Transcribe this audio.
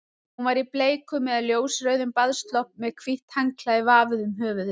Hún var í bleikum eða ljósrauðum baðslopp með hvítt handklæði vafið um höfuðið.